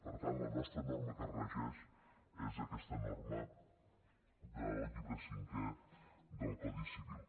per tant la nostra norma que regeix és aquesta norma del llibre cinquè del codi civil